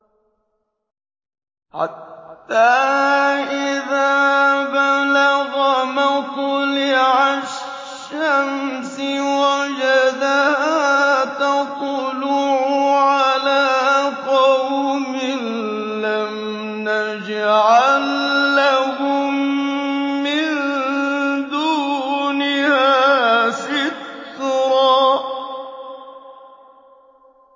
حَتَّىٰ إِذَا بَلَغَ مَطْلِعَ الشَّمْسِ وَجَدَهَا تَطْلُعُ عَلَىٰ قَوْمٍ لَّمْ نَجْعَل لَّهُم مِّن دُونِهَا سِتْرًا